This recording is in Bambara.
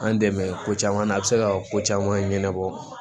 An dɛmɛ ko caman na a bɛ se ka ko caman ɲɛnabɔ